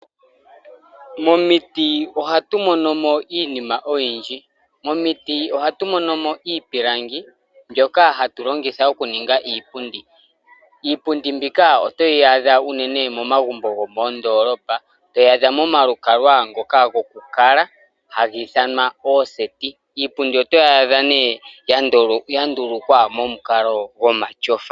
Momiti ohatu mono mo iinima oyindji. Mo miti ohatu mono mo iipilangi, mbyoka hatu longitha oku ninga iipundi. Iipundi mbika otoyi adha unene mo magumbo gomoondolopa. Toyi adha mo malukalwa ngoka goku kala, haga ithanwa ooseti. Iipundi oto yi adha nee ya ndulukwa mo mukalo gomatyofa.